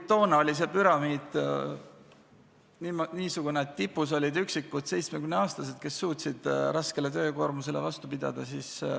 Toona oli see püramiid niisugune, et tipus olid üksikud 70-aastased, kes suutsid raskele töökoormusele vastu pidada.